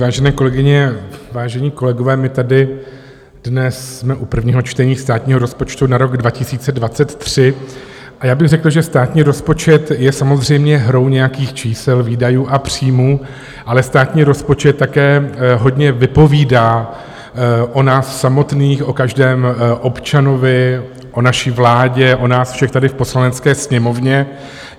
Vážené kolegyně, vážení kolegové, my tady dnes jsme u prvního čtení státního rozpočtu na rok 2023 a já bych řekl, že státní rozpočet je samozřejmě hrou nějakých čísel, výdajů a příjmů, ale státní rozpočet také hodně vypovídá o nás samotných, o každém občanovi, o naší vládě, o nás všech tady v Poslanecké sněmovně.